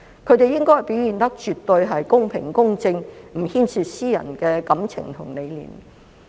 他們應該表現得絕對公平、公正，不牽涉私人感情和理念。